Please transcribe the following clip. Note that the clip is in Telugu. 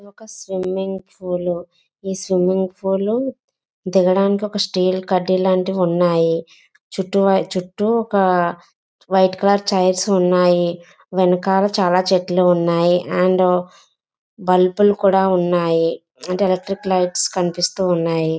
ఇది ఒక స్విమ్మింగ్ పూల్ . ఇస్ స్విమ్మింగ్ పూల్ దిగడానికి ఒక స్టీల్ కడ్డీ లాంటిది ఉన్నాయి చుట్టూరా .చుట్టూ ఒక వైట్ కలర్ చైర్స్ ఉన్నాయి. వెనకాల చాలా చెట్లు ఉన్నాయి. అండ్ బల్బులు కూడా ఉన్నాయి. ఎలక్ట్రిక్ లైట్స్ కనిపిస్తూ ఉన్నాయి.